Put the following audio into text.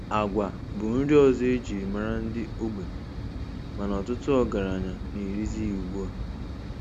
Agwa bụ nri ọzọ e jiri mara ndị ogbenye mana ọtụtụ ọgaranya na-erizi ya ugbu a.